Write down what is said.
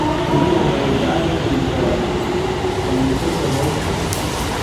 Shinnidu waxay gacan ka geysataa dhamaystirka hawsha.